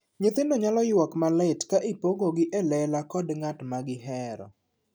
Nyithindo nyalo yuak malit ka ipogogi e lela kod ng'at ma gihero.